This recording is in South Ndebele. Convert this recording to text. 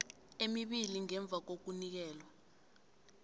emibili ngemva kokunikelwa